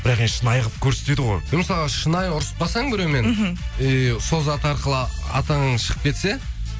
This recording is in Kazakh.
бірақ енді шынайы ғып көрсетеді ғой мысалға шынайы ұрысып қалсаң біреумен эээ сол зат арқылы атағың шығып кетсе